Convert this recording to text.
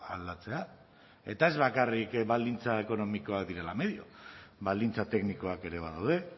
aldatzea eta ez bakarrik baldintza ekonomikoak direla medioa baldintza teknikoak ere badaude